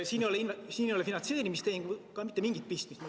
Siin ei ole finantseerimistehinguga mitte mingit pistmist.